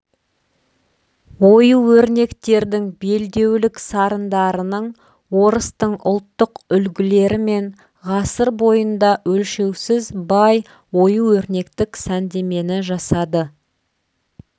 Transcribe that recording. ою-өрнектердің белдеулік сарындарының орыстың ұлттық үлгілерімен ғасыр бойында өлшеусіз бай ою-өрнектік сәндемені жасады